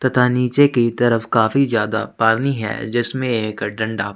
तथा निचे की तरफ काफी ज्यादा पानी है जिसमे एक डंडा --